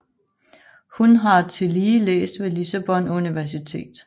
Hun har tillige læst ved Lissabon Universitet